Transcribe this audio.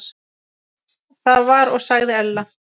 Það var og sagði Ella.